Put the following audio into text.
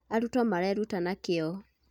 arutwo mareruta na kĩo